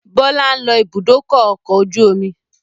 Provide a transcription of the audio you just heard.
Bọlá ń lọ ibùdókọ̀ ọkọ̀ ojú omi